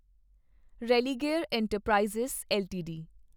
Religare enterprise LTD